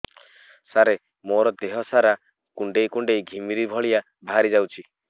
ସାର ମୋର ଦିହ ସାରା କୁଣ୍ଡେଇ କୁଣ୍ଡେଇ ଘିମିରି ଭଳିଆ ବାହାରି ଯାଉଛି